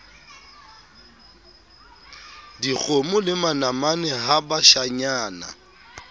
dikgomo le manamane ha bashanyana